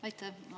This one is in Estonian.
Aitäh!